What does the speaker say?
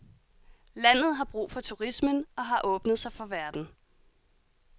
Landet har brug for turismen og har åbnet sig for verden.